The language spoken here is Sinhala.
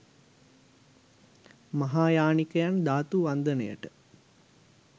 මහායානිකයන් ධාතු වන්දනයට